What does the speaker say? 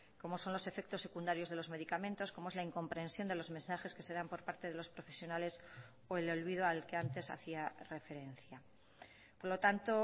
como son los efectos secundarios de los medicamentos como es la incomprensión de los mensajes que se dan por parte de los profesionales o el olvido al que antes hacía referencia por lo tanto